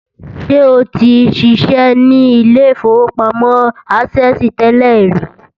Ṣé o ti ṣiṣẹ́ ní ilé-ìfowópamọ́ access tẹ́lẹ̀ rí?